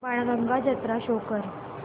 बाणगंगा जत्रा शो कर